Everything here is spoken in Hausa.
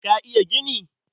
Ka iya gini?